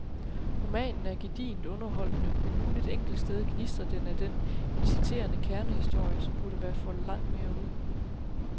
Romanen er gedigent underholdende, men kun et enkelt sted gnistrer den af den inciterende kernehistorie, som burde være foldet langt mere ud.